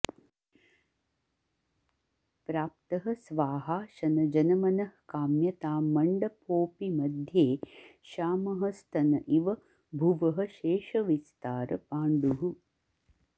प्राप्तः स्वाहाशनजनमनःकाम्यतां मण्डपोऽपि मध्ये श्यामः स्तन इव भुवः शेषविस्तारपाण्डुः